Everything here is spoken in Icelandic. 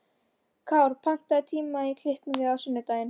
Kár, pantaðu tíma í klippingu á sunnudaginn.